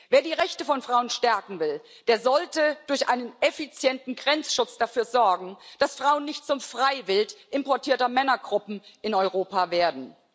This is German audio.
Wer die Rechte von Frauen stärken will, der sollte durch einen effizienten Grenzschutz dafür sorgen, dass Frauen nicht zum Freiwild importierter Männergruppen in Europa werden.